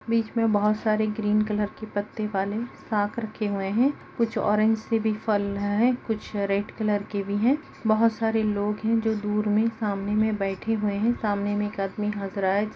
--बिच में बहुत सारे हरे रंग के पत्ते वाले फक्र किए हुए हैं कुछ औरएज से भी फल है कुछ लाल रंग भी है बहुत सारे लोगा है जो दूर में समने में बैठे हुए हैं समने ‌मे एक आदमी हंस रहा है जिस ने सफेद शट पहन हैं।